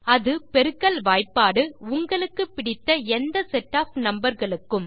அது பெருக்கல் வாய்பாடு உங்களுக்கு பிடித்த எந்த செட் ஒஃப் நம்பர் களுக்கும்